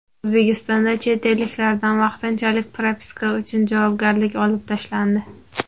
O‘zbekistonda chet elliklardan vaqtinchalik propiska uchun javobgarlik olib tashlandi.